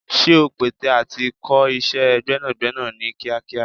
Ṣé ò ń pète à ti kọ́ iṣẹ́ gbẹ́nàgbẹ́nà ní kíákíá?